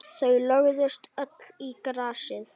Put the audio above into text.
Þau lögðust öll í grasið.